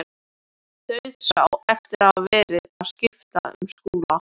Dauðsá eftir að hafa verið að skipta um skóla.